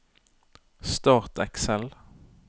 Start Excel